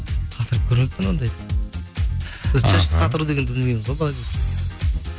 қатырып көрмеппін ондай біз шашты қатыру дегенді білмейміз ғой